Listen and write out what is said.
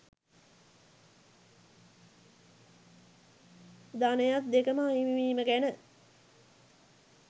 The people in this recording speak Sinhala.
ධනයත් දෙකම අහිමිවීම ගැන